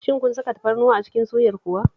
Shin kun saka tafarnuwa a cikin suyar kuwa?